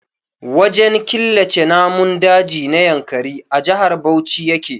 Wajen killace namun daji na Yankari a Jihar Bauchi yake.